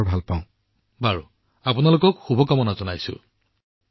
প্ৰধানমন্ত্ৰীঃ ঠিক আছে মই আপোনালোকক শুভকামনা জনাইছো